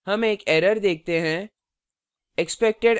हम एक error देखते हैं: